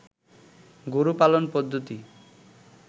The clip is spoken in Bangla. গরু পালন পদ্ধতি